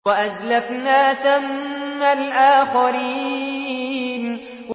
وَأَزْلَفْنَا ثَمَّ الْآخَرِينَ